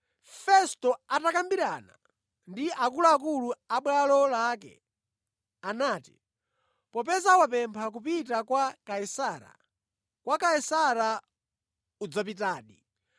Festo atakambirana ndi akuluakulu abwalo lake, anati, “Popeza wapempha kupita kwa Kaisara, kwa Kaisara udzapitadi!”